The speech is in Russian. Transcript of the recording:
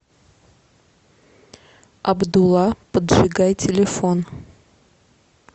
абдула поджигай телефон